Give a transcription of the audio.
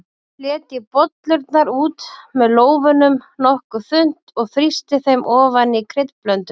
Fletjið bollurnar út með lófanum nokkuð þunnt og þrýstið þeim ofan í kryddblönduna.